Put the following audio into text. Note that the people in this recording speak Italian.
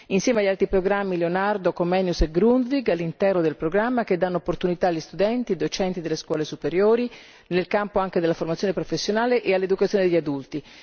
insieme agli altri programmi Leonardo, Comenius e Grundtvig all'interno del programma, che danno opportunità agli studenti e docenti delle scuole superiori nel campo anche della formazione professionale e all'educazione degli adulti.